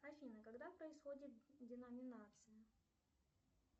афина когда происходит деноминация